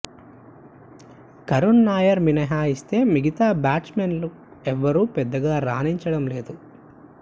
కరుణ్ నాయర్ మినహాయిస్తే మిగతా బ్యాట్స్మెన్ ఎవరూ పెద్దగా రాణించడం లేదు